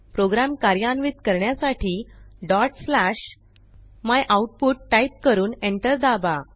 program कार्यान्वित करण्यासाठी dot slash myoutput type करून एंटर दाबा